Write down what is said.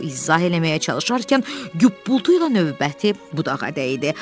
o izah eləməyə çalışarkən güppultu ilə növbəti budağa dəydi.